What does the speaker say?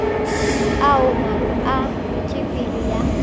ao maano a wetšopele ya